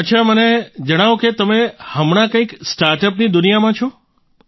અચ્છા મને જણાવો કે તમે હમણાં કંઈક સ્ટાર્ટઅપની દુનિયામાં છો